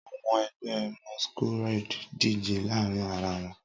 Awọn ẹgbẹ Masqurade dije laarin ara wọn